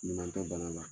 Ɲuman tɛ bana la